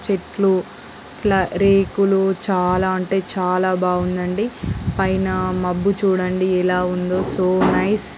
చెట్లురేకులుచెట్లు చాలా అంటే చాలా బాగుందండి.పైన మబ్బు చూడండి ఎలా ఉందో సో నైస్ .